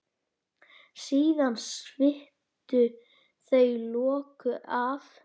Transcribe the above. Síðan sviptu þau lokinu af.